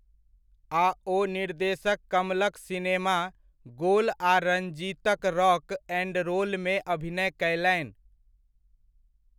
आ ओ निर्देशक कमलक सिनेमा, 'गोल' आ रंजीतक 'रॉक एंड रोल'मे अभिनय कयलनि।